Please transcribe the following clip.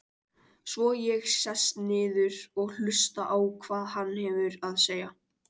Svo ég sest niður og hlusta á hvað hann hefur að segja.